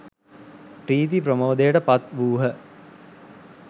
ප්‍රීති ප්‍රමෝදයට පත් වූහ.